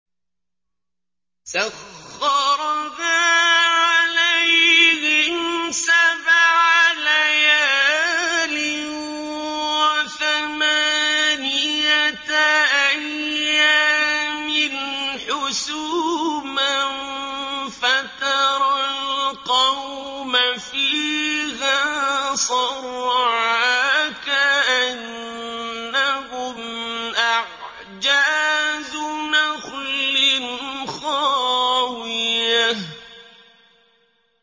سَخَّرَهَا عَلَيْهِمْ سَبْعَ لَيَالٍ وَثَمَانِيَةَ أَيَّامٍ حُسُومًا فَتَرَى الْقَوْمَ فِيهَا صَرْعَىٰ كَأَنَّهُمْ أَعْجَازُ نَخْلٍ خَاوِيَةٍ